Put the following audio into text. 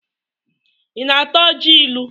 Ị na-ata ọjị ilu?